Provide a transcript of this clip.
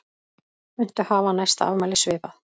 Muntu hafa næsta afmæli svipað?